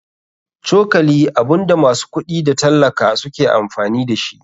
Cokali abunda masu kuɗi da tallaka suke amfani dashi.